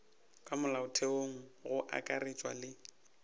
ka molaotheong go akaretšwa le